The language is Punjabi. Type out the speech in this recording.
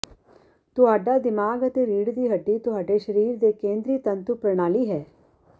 ਤੁਹਾਡਾ ਦਿਮਾਗ ਅਤੇ ਰੀੜ੍ਹ ਦੀ ਹੱਡੀ ਤੁਹਾਡੇ ਸਰੀਰ ਦੀ ਕੇਂਦਰੀ ਤੰਤੂ ਪ੍ਰਣਾਲੀ ਹੈ